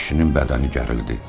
Kişinin bədəni gərildi.